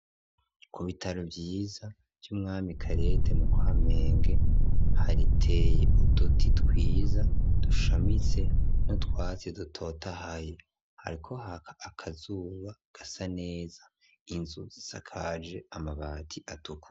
Ku bitaro vyiza vy'umwami kalede mu kamenge hariteye uduti twiza dushamitse n’utwatsi dutotahaye hariko akazuba gasa neza inzu zisakaje amabati atukura.